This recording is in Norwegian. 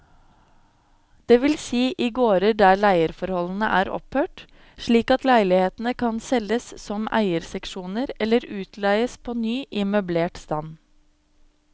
Det vil si i gårder der leieforholdene er opphørt, slik at leilighetene kan selges som eierseksjoner eller utleies på ny i møblert stand.